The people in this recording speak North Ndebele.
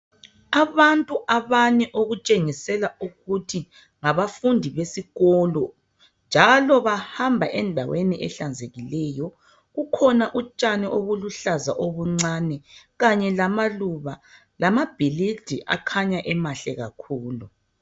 Abantu abane okutshengisela ukuthi ngabafundi besikolo njalo bahamba endaweni ehlanzekiliyo kukhona utshani obuluhlaza obuncane kanye lamaluba lamabhilidi akhanya emahle kakukhulu.